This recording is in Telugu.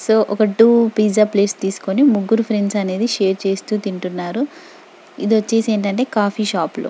సో ఒక టు పిజ్జా ప్లేట్ తీస్కొని ముగ్గురు ఫ్రెండ్స్ అనేది షేర్ చేస్తూ తింటున్నారు ఇది వచ్చేసి ఏంటంటే కాఫీ షాప్ లో.